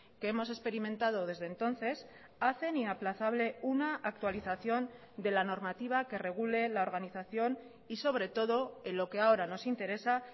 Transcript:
que hemos experimentado desde entonces hacen inaplazable una actualización de la normativa que regule la organización y sobre todo en lo que ahora nos interesa